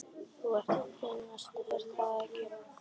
Þú ert að grínast er það ekki?